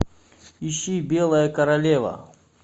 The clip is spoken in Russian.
ищи белая королева